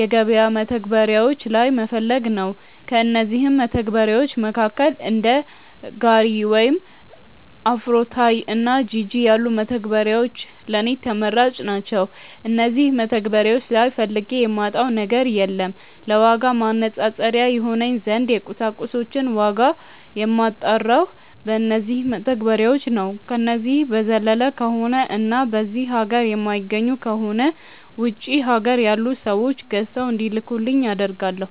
የገበያ መተግበሪያዎች ላይ መፈለግ ነው። ከእነዚህም መተግበርያዎች መካከል እንደ ጋሪ ወይም አፍሮታይ እና ጂጂ ያሉት መተግበሪያዎች ለኔ ተመራጭ ናቸዉ። እነዚህ መተግበሪያዎች ላይ ፈልጌ የማጣው ነገር የለም። ለዋጋ ማነፃፀሪያ ይሆነኝ ዘንድ የቁሳቁሶችን ዋጋ የማጣራው በነዚው መተግበሪያዎች ነው። ከነዚህ በዘለለ ከሆነ እና በዚህ ሀገር የማይገኙ ከሆነ ውጪ ሀገር ያሉ ሰዎች ገዝተው እንዲልኩልኝ አደርጋለው።